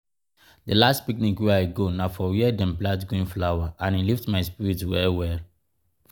di last picnic wey i go na for where dem plant green flower and e lift my spirit well well!